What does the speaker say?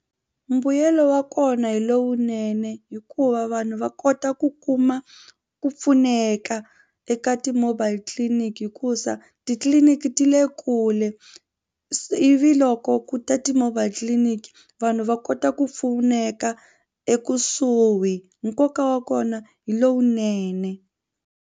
Mbuyelo wa kona hi lowunene hikuva vanhu va kota ku kuma ku pfuneka eka ti-mobile clinic hikuza titliliniki ti le kule ivi loko ku ta ti-mobile tliliniki vanhu va kota ku pfuneka ekusuhi nkoka wa kona hi lowunene.